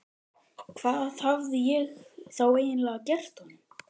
Hvað hafði ég þá eiginlega gert honum?